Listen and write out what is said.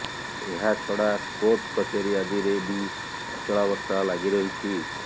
ଏହାଛଡା କୋର୍ଟ କଚେରୀ ଆଦିରେ ବି ଅଚଳାବସ୍ଥା ଲାଗି ରହିଛି